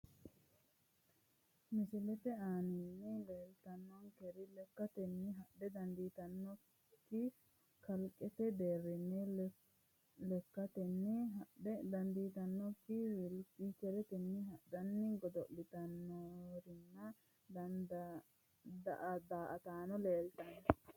misilette aanaanni leellitaankeri lekkatenni hadhe dandiitannoki manootti leellitanonke inssano tophiwu kaliqqete deerinni lekattenni hadhe dandiitanokkiri wilincheretenni hadhanni godo'iltannorinna daa'ataanno leelittano